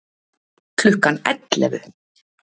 Klukkan ellefu